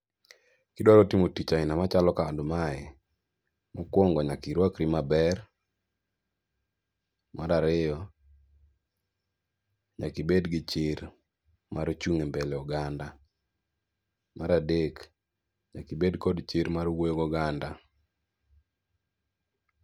Kidwaro timo tich aina machalo kamae, mokwongo nyaka irwakri maber. Mar ariyo, nyaka ibed gi chir mar chung' e mbele oganda. Mar adek, nyaka ibed gi chir mar wuoyo goganda.